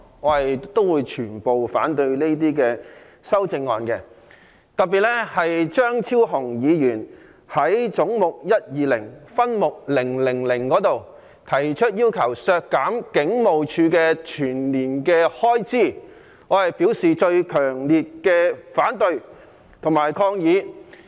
我反對所有修正案，特別是張超雄議員就總目122分目000要求削減香港警務處全年開支提出的修正案，我表示最強烈的反對及抗議。